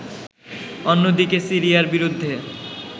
অন্যদিকে সিরিয়ার বিরুদ্ধে